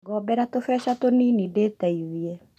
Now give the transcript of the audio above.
Ngombera tũbecha tũnini ndĩteithĩe